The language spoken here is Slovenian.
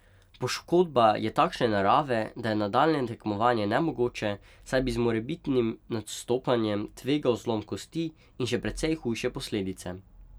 Poškodba je takšne narave, da je nadaljnje tekmovanje nemogoče, saj bi z morebitnim nastopanjem tvegal zlom kosti in še precej hujše posledice.